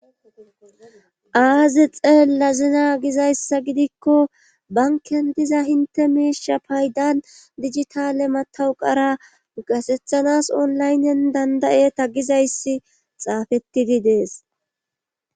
aazi xeella zina gizayssa gidikko banken diza hinte miisha paydan digitale matawu qara gasethanas onlaynnen dandayeta gizayssi xaafettidi dees